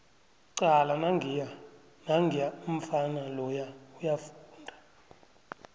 cala nangiya umfana loya uyafunda